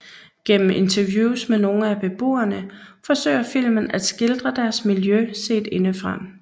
Gennem interviews med nogle af beboerne forsøger filmen at skildre deres miljø set indefra